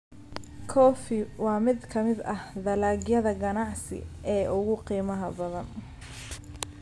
Coffee: waa mid ka mid ah dalagyada ganacsi ee ugu qiimaha badan.